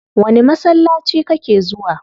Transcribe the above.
Wani masallaci kake zuwa?